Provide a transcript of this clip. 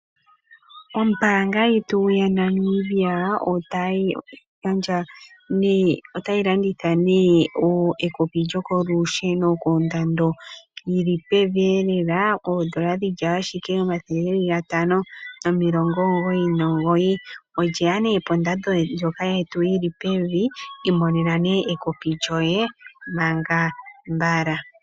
Ombaanga yetu yaFNB otayi gandja oshimaliwa kumboka ya hala okulanda ekopi lyokolusheno koNictus, ndyoka lye li kondando yi li pevi noonkondo, li na ashike N$ 599. Olye ya lela kondando yi li pevi, ano imonena ekopi lyoye mbala.